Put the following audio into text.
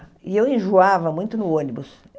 E eu enjoava muito no ônibus.